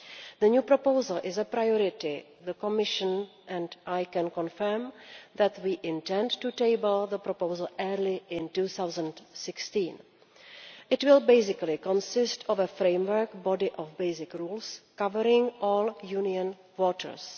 The new proposal is a priority for the Commission, and I can confirm that we intend to table the proposal early in 2016. It will basically consist of a framework body of basic rules, covering all EU waters.